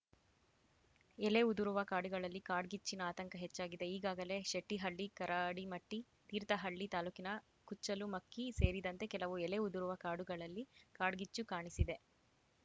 ಎಲೆ ಉದುರುವ ಕಾಡುಗಳಲ್ಲಿ ಕಾಡ್ಗಿಚ್ಚಿನ ಆತಂಕ ಹೆಚ್ಚಾಗಿದೆ ಈಗಾಗಲೇ ಶೆಟ್ಟಿಹಳ್ಳಿ ಕರಡಿಮಟ್ಟಿ ತೀರ್ಥಹಳ್ಳಿ ತಾಲೂಕಿನ ಕುಚ್ಚಲುಮಕ್ಕಿ ಸೇರಿದಂತೆ ಕೆಲವು ಎಲೆ ಉದುರುವ ಕಾಡುಗಳಲ್ಲಿ ಕಾಡ್ಗಿಚ್ಚು ಕಾಣಿಸಿದೆ